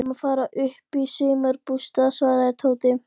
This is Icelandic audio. Við erum að fara upp í sumarbústað svaraði Tóti.